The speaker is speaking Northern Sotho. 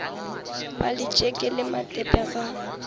ba letšeke le matepe ga